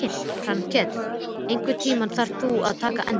Grankell, einhvern tímann þarf allt að taka enda.